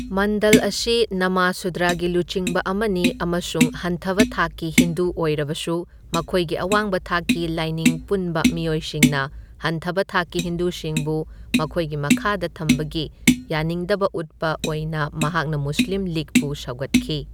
ꯃꯟꯗꯜ ꯑꯁꯤ ꯅꯃꯥꯁꯨꯗ꯭ꯔꯒꯤ ꯂꯨꯆꯤꯡꯕ ꯑꯃꯅꯤ ꯑꯃꯁꯨꯡ ꯍꯟꯊꯕ ꯊꯥꯛꯀꯤ ꯍꯤꯟꯗꯨ ꯑꯣꯏꯔꯕꯁꯨ ꯃꯈꯣꯏꯒꯤ ꯑꯋꯥꯡꯕ ꯊꯥꯛꯀꯤ ꯂꯥꯏꯅꯤꯡ ꯄꯨꯟꯕ ꯃꯤꯑꯣꯏꯁꯤꯡꯅ ꯍꯟꯊꯕ ꯊꯥꯛꯀꯤ ꯍꯤꯟꯗꯨꯁꯤꯡꯕꯨ ꯃꯈꯣꯏꯒꯤ ꯃꯈꯥꯗ ꯊꯝꯕꯒꯤ ꯌꯥꯅꯤꯡꯗꯕ ꯎꯠꯄ ꯑꯣꯏꯅ ꯃꯍꯥꯛꯅ ꯃꯨꯁꯂꯤꯝ ꯂꯤꯒꯄꯨ ꯁꯧꯒꯠꯈꯤ꯫